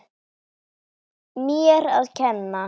Hann hélt hann væri Guð.